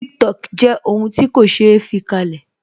Tiktok jẹ́ ohun ti ko se fi kalẹ̀